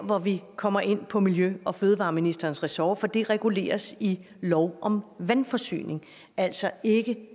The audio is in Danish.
hvor vi kommer ind på miljø og fødevareministerens ressort for det reguleres i lov om vandforsyning altså ikke